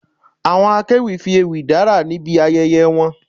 Àwọn akéwì fi ewì dárà níbi ayẹyẹ wọn